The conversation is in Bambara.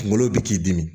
Kungolo bi k'i dimi